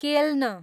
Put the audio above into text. केल्न